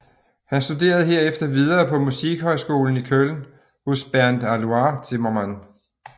Han studerede herefter videre på Musikhøjskolen i Köln hos Bernd Alois Zimmermann